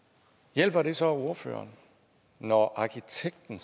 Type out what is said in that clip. hjælper det så ordføreren når arkitekten